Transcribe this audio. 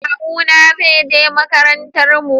Kawu na zai je makarantar mu